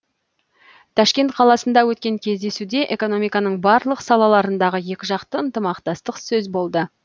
ташкент қаласында өткен кездесуде экономиканың барлық салаларындағы екі жақты ынтымақтастық сөз болды